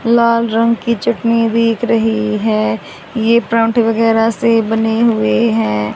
लाल रंग की चटनी बिक रही है ये प्लांट वगैरा से बने हुए हैं।